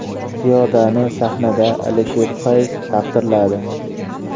Ziyodani sahnada Alisher Fayz taqdirladi.